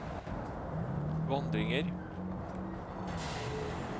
vandringer